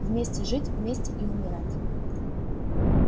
вместе жить вместе и умирать